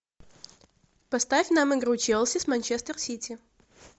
поставь нам игру челси с манчестер сити